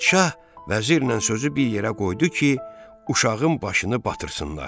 Padşah vəzirlə sözü bir yerə qoydu ki, uşağın başını batırsınlar.